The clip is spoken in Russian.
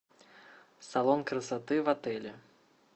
салон красоты в отеле